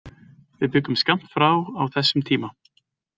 Við bjuggum skammt frá á þessum tíma.